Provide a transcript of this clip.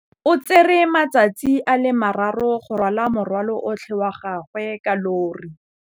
O tsere malatsi a le marraro go rwala morwalo otlhe wa gagwe ka llori.